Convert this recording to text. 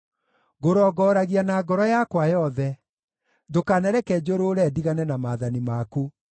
Ngũrongoragia na ngoro yakwa yothe; ndũkanareke njũrũũre ndigane na maathani maku.